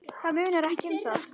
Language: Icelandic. Það munar ekki um það!